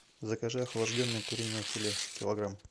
закажи охлажденное куриное филе килограмм